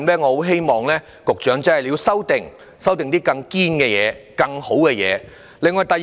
我希望局長在修訂中提出一套更理想的做法。